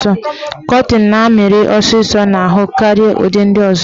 Kọtịn na-amịrị ọsịsọ n'ahụ karịa ụdị ndị ọzọ.